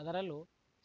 ಅದರಲ್ಲೂ